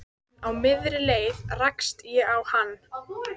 En á miðri leið rakst ég á hann.